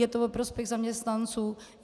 Je to ve prospěch zaměstnanců.